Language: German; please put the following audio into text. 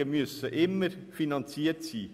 Steuersenkungen müssen immer finanziert sein.